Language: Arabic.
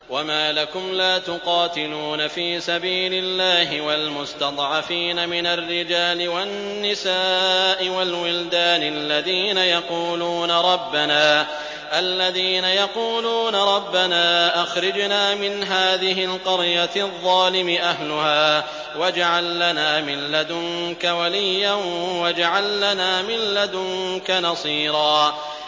وَمَا لَكُمْ لَا تُقَاتِلُونَ فِي سَبِيلِ اللَّهِ وَالْمُسْتَضْعَفِينَ مِنَ الرِّجَالِ وَالنِّسَاءِ وَالْوِلْدَانِ الَّذِينَ يَقُولُونَ رَبَّنَا أَخْرِجْنَا مِنْ هَٰذِهِ الْقَرْيَةِ الظَّالِمِ أَهْلُهَا وَاجْعَل لَّنَا مِن لَّدُنكَ وَلِيًّا وَاجْعَل لَّنَا مِن لَّدُنكَ نَصِيرًا